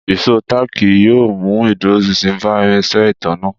Ìṣó táàkì yóò mú ìdúróṣinṣin bá irinṣẹ́ ìtanná